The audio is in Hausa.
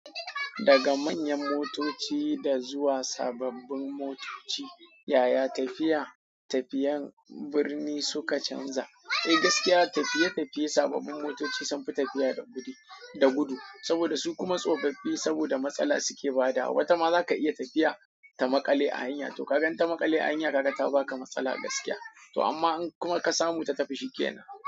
Daga manyan motoci da zuwa sababbin motoci, yaya tafiya tafiyan birni suka canza? Eh gaskiya tafiye-tafiye sababbin motoci sun fi tafiya da gudu, saboda su kuma tsofaffi saboda matsala suke bada. Wata ma zaka iya tafiya ta makale a hanya, to kaga ta makale a hanya, kaga ta baka matsala gaskiya. To amma in kuma ka samu ta tafi shi ke nan.